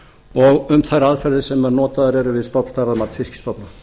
og um þær aðferðir sem notaðar eru við stofnstærðarmat fiskstofna